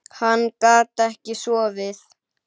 Hann gat ekki sofið.